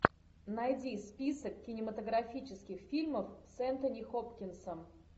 найди список кинематографических фильмов с энтони хопкинсом